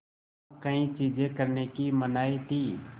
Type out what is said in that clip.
वहाँ कई चीज़ें करने की मनाही थी